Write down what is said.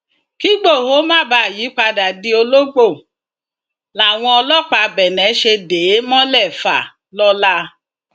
kígbohò má bàa yípadà di ológbò làwọn ọlọpàá benne ṣe dè é mọlẹfàlọla